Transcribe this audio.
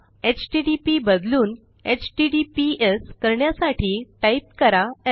HTTP बदलून HTTPS करण्यासाठी type करा स्